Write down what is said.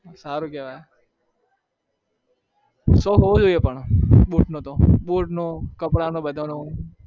સારું કેવાય શોક હોવો જોઈએ પણ boot નો કપડાનો બધાનો